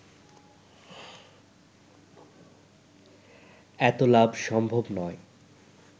এত লাভ সম্ভব নয়